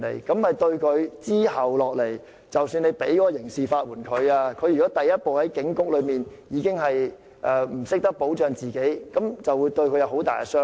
即使他日後可以獲得刑事法援，如果他第一步在警局內已不懂得保障自己，這會對他有很大傷害。